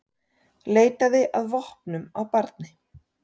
Leitaði að vopnum á barni